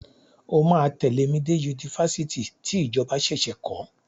O máa tẹ̀lé mi dé Yunifásitì tí ìjọba ṣẹ̀ṣẹ̀ kọ́.